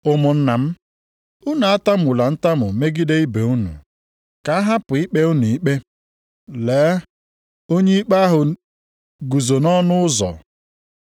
Ụmụnna m, unu atamula ntamu megide ibe unu, ka a hapụ ikpe unu ikpe! Lee, onye ikpe ahụ guzo nʼọnụ ụzọ.